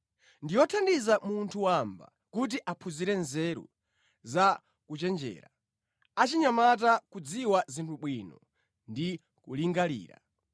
Ndi yothandiza munthu wamba kuti aphunzire nzeru za kuchenjera, achinyamata kudziwa zinthu bwino ndi kulingalira.